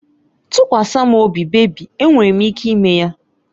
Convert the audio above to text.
Tụkwasa m obi bebị, enwere m ike ime ya.